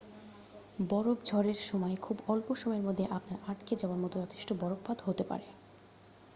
বরফ ঝড়ের সময় খুব অল্প সময়ের মধ্যে আপনার আটকে যাওয়ার মতো যথেষ্ট বরফপাত হতে পারে